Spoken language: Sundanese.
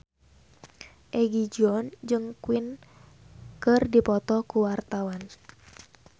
Egi John jeung Queen keur dipoto ku wartawan